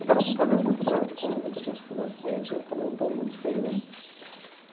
Eu tava com um problema muito grave de coluna, que eu tinha sofrido um acidente, eu tomei um tombo muito feio, né?